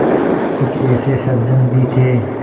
कुछ ऐसे सज्जन भी थे